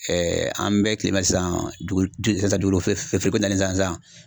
an bɛɛ tile minna sisan, dugukolo feere ko nalen sisan sisan .